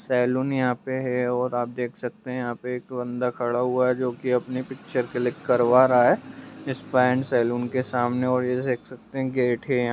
Salon यहाँ पे है और आप देख सकते हैं यहाँ पे एक बंदा खड़ा हुआ है जो की अपनी पिक्चर क्लिक करवा रहा है स्पा एंड सैलून के सामने और ये देख सकते हैं गेट है यहाँ।